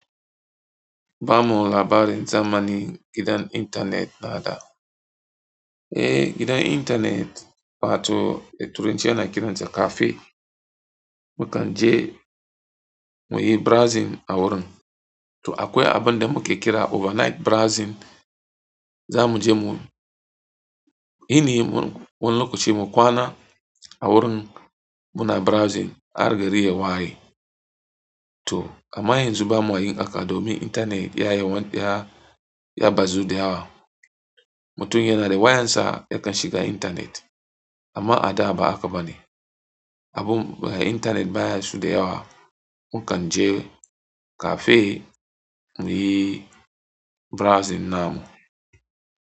Ba mu labarin zamanin gidan intanet na da. Eh, gidan intanet wato a Turanci ana kiransa cafe. Mu kan je mu yi browsing a wurin. To akwai abin da muke kira overnight browsing. Za mu je mu yini wani lokaci mu kwana a wurin muna browsing har gari ya waye. To, a ma yanzu bama yin haka domin intanet ya yi wani ya bazu da yawa. Mutum yana da wayarsa yakan shiga intanet amma a da ba haka ba ne. Abin ba intanet ba shida yawa. Mu kan je cafe mu yi browsing namu.